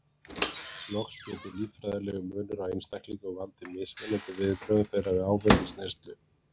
Loks getur líffræðilegur munur á einstaklingum valdið mismunandi viðbrögðum þeirra við áfengisneyslu.